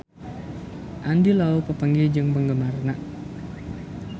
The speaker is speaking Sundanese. Andy Lau papanggih jeung penggemarna